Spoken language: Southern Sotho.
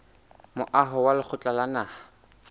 moaho wa lekgotla la naha